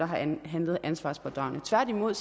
har handlet ansvarspådragende tværtimod